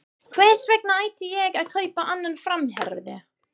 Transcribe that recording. Hvers vegna ætti ég að kaupa annan framherja?